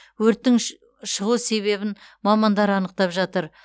өрттің шығу себебін мамандар анықтап жатыр